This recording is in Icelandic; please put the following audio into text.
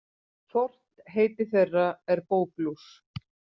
Fornt heiti þeirra er bóklús.